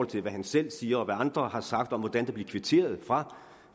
til hvad han selv siger og hvad andre har sagt om hvordan der blev kvitteret fra